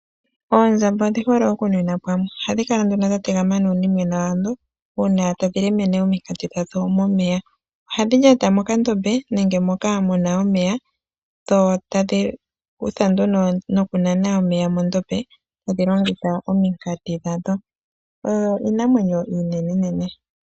Oondjamba odhi hole okunwina pamwe. Ohadhi kala nduno dha tegama nuunimwena wadho uuna tadhi lemene ominkati dhadho momeya. Ohadhi lyata mokandombe nenge moka mu na omeya, dho tadhi kutha nduno nokunana omeya mondombe tadhi longitha ominkati dhadho, oyo iinamwenyo iinene nene.